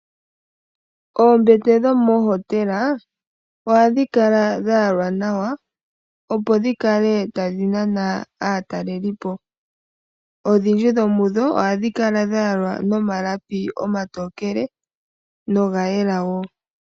Oombete dhomoohotela ohadhi kala dha yalwa nawa opo dhikale tadhi nana aatalelipo. Odhindji dho mudho ohadhi kala dha yalwa nomalapi omatokele noga yela woo.